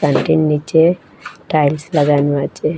এটির নীচে টাইলস লাগানো আচে।